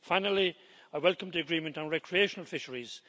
Finally, I welcome the agreement on recreational fisheries.